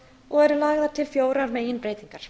og eru lagðar til fjórar meginbreytingar